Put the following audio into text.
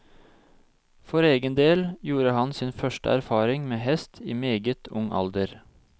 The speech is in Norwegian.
For egen del gjorde han sin første erfaring med hest i meget ung alder.